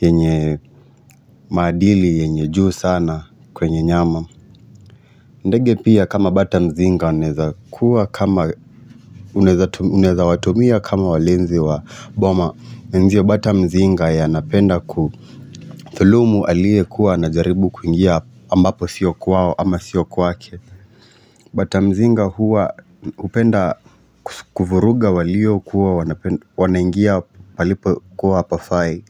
yenye maadili yenye juu sana kwenye nyama. Ndege pia kama batamzinga wanaweza kuwa kama Uneza watumia kama walinzi wa boma pia bata mzinga ya napenda ku thulumu aliye kuwa ana jaribu kuingia ambapo sio kwao ama sio kwake. Bata mzinga huwa hupenda kuvuruga walio kuwa wanaingia palipo kuwa hapafai.